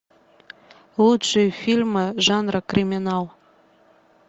лучшие фильмы жанра криминал